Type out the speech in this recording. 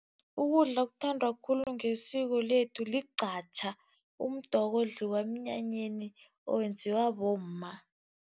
Ukudla okuthandwa khulu ngesiko lethu ligqatjha, umdoko odliwa emnyanyeni owenziwa bomma.